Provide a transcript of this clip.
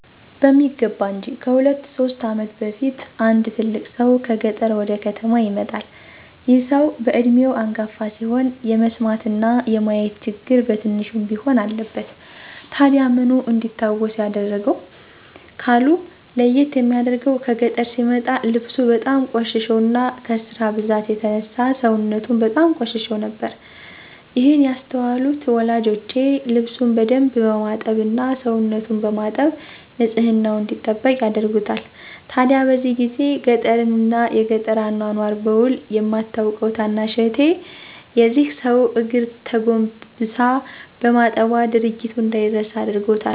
በሚገባ እንጅ። ከሁለት ሶስት ዓመት በፊት አንድ ትልቅ ሰው ከገጠር ወደ ከተማ ይመጣል። ይህ ሰው በዕድሜው አንጋፋ ሲሆን የመስማትና የማየት ችግር በትንሹም ቢሆን አለበት። ታዲያ ምኑ ነው እንዲታወስ ያደረገው? ካሉ፤ ለይት የሚያደርገው ከገጠር ሲመጣ ልብሱ በጣም ቆሽሾና ከስራ ብዛት የተነሳ ሰውነቱም በጣም ቆሽሾ ነበር። ይህን ያስተዋሉት ወላጆቼ ልብሱን በደንብ በማጠብ እና ሰውነቱን በማጠብ ንፅህናውን እንዲጠብቅ ያደርጉታል። ታዲያ በዚህ ጊዜ ገጠርን እና የገጠር አኗኗር በዉል የማታቀው ታናሽ እህቴ የዚህን ሰው እግር ተጎንብሳ በማጠቧ ድርጊቱ እንደይረሳ አድርጎታል።